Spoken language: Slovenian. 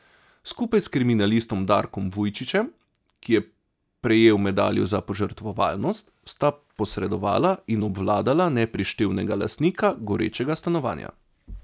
Skupaj s kriminalistom Darkom Vujčićem, ki je prejel medaljo za požrtvovalnost, sta posredovala in obvladala neprištevnega lastnika gorečega stanovanja.